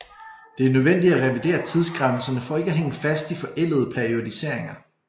Det er nødvendigt at revidere tidsgrænserne for ikke at hænge fast i forældede periodiseringer